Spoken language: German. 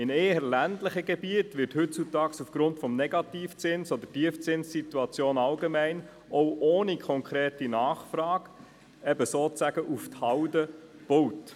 In den ländlichen Gebieten wird heute aufgrund des Negativzinses oder aufgrund der allgemeinen Tiefzinssituation auch ohne konkrete Nachfrage sozusagen auf Halde gebaut.